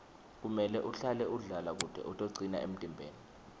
kumele uhlale udlala kute utocina emtimbeni